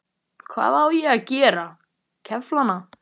Hvað á ég að gera, kefla hana?